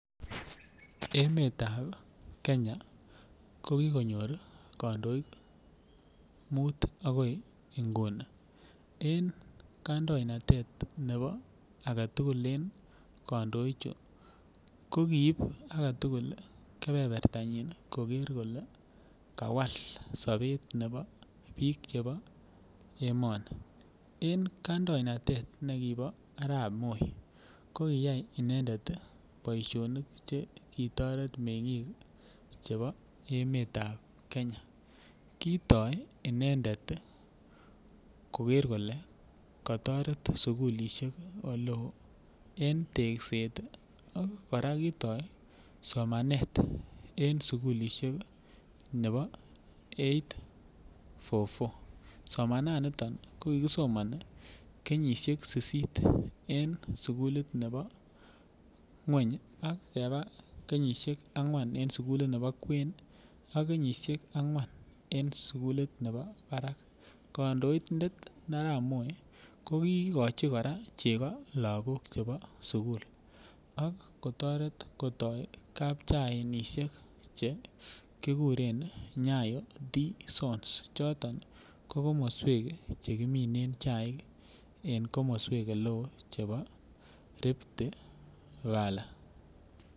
Emetab Kenya ko kokonyor kondoik mut akoi nguni, en kandoinatet nebo agetukul en kondoik chuu ko koib agetukul kepepertanyon koker kole kawal sobet neo bik chebo emoni. En kandoinatet nekibo Arab Moi ko koyai inendet tii boishonik chekitoret mengik chebo emetab Kenya kotoo inedent tii koker kole kotoret sukulishek oleo en tekset tii Koraa kitoo somanet en sukulishek nebo eight four four somana niton ko kikisomoni kenyishek sisit en sukulit nebo ngwony ak keba angwan en sukulit nebo kwen ak kenyishek angwan en sukulit nebo barak. Kondoindet Arap Moi kokikochi chego lokok chebo sukul ak kotoret kotko kapchainishek che kikuren Nyayo tea zones choton ko komoswek. Chekimine chaik en komoswek ole chebo Rifty valley.